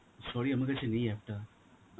sorry আমার কাছে নেই app টা.